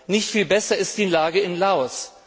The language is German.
Nicht viel besser ist die Lage in Laos.